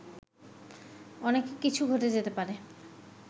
অনেক কিছু ঘটে যেতে পারে